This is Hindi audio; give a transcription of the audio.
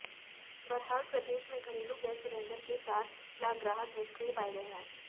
बहरहाल प्रदेश में घरेलू गैस सिलेंडर के चार लाख ग्राहक निष्क्रिय पाए गए हैं